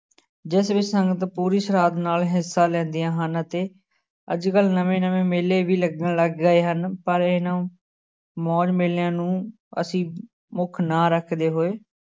ਜਿਸ ਵਿੱਚ ਸਾਨੂੰ ਪੂਰੀ ਸ੍ਰਾਧ ਨਾਲ ਹਿੱਸਾ ਲੈਂਦੀਆਂ ਹਨ ਅਤੇ ਅੱਜ ਕੱਲ੍ਹ ਨਵੇਂ ਨਵੇਂ ਮੇਲੇ ਵੀ ਲੱਗਣ ਲੱਗ ਗਏ ਹਨ, ਪਰ ਇਹਨਾਂ ਮੌਜ ਮੇਲਿਆਂ ਨੂੰ ਅਸੀਂ ਮੁੱਖ ਨਾ ਰੱਖਦੇ ਹੋਏ